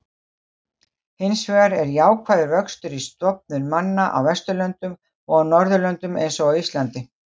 Hinsvegar er jákvæður vöxtur í stofnum manna á Vesturlöndum og á Norðurlöndum eins og Íslandi.